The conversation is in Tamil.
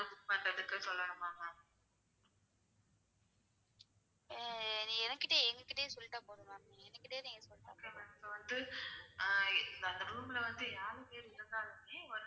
room ல வந்து .